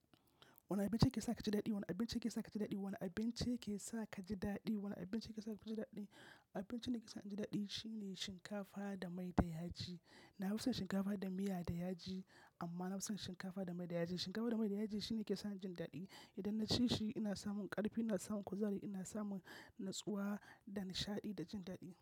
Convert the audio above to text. Wane abinci yake sa ka ji daɗi? Wane abinci yake sa ka ji daɗi? Wane abinci yake sa ka ji daɗi? Wane abinci yake sa ka ji daɗi? Abincin da yake sa ni ji daɗi shine shinkafa da mai da yaji. Na fi son shinkafa da miya da yaji amma na fi son shinkafa da mai da yaji. Shinkafa da mai da yaji shine yake sa ni jin daɗi. Idan na ci shi ina samun ƙarfi, ina samun kuzari, ina samun natsuwa da nishaɗi da jin daɗi.